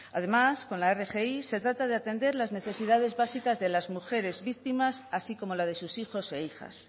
además con la rgi se trata de atender las necesidades básicas de las mujeres víctimas así como la de sus hijos e hijas